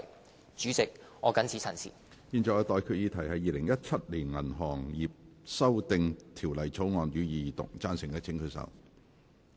我現在向各位提出的待決議題是：《2017年銀行業條例草案》，予以二讀。